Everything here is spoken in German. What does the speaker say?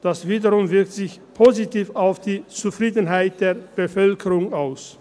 Dies wiederum wirkt sich positiv auf die Zufriedenheit der Bevölkerung aus.